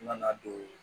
N nana don